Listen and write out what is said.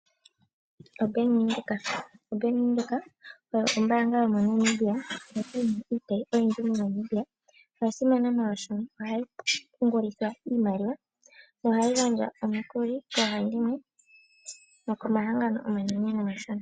OBank Windhoek, oBank Windhoek oyo ombanga yomoNamibia. Ndjoka yina iitayi ooyindji moNamibia. Oya simana molwashono ohayi pungulitha iimaliwa. Yo ohayi gandja omiikuli koohandimwe nokomahangano omanene nomashona.